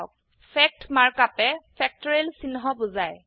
fact mark আপে factorial চিহ্ন বোজায়